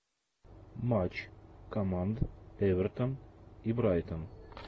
матч команд эвертон и брайтон